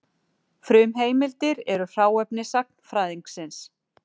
Frumheimildir eru hráefni sagnfræðingsins.